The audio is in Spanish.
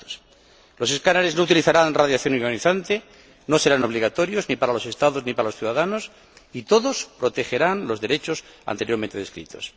Los escáneres no utilizarán radiación ionizante, no serán obligatorios ni para los Estados ni para los ciudadanos, y todos protegerán los derechos anteriormente descritos.